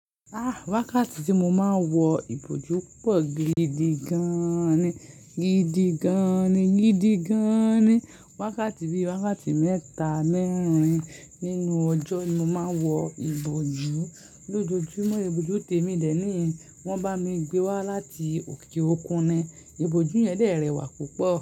Ah! Wákàtí tí mo máa ń wọ ìbòjú pọ̀ gidigan ni, gidigan ni, gidigan ni. Wákàtí bíi wákàtí mẹ́ta mẹ́rin nínú ọjọ́ ni mo máa ń wọ ìbòjú. Lójojúmọ́, ìbòjú tèmi de ni in, wọ́n bá mi gbé wá láti òkè òkun ni, ìbòjú yẹn dè rẹwà púpọ̀